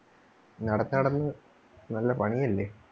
നടന്ന്, നടന്ന് നല്ല പണി അല്ലേ?